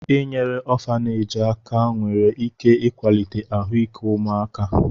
Inyere ọfaneeji aka nwere ike ịkwalite ahụike ụmụaka.